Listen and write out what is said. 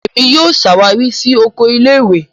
Èmi yóò ṣawari si Oko ilé-ìwé.